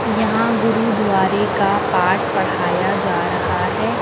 यहां गुरुद्वारे का पाठ पढ़ाया जा रहा है।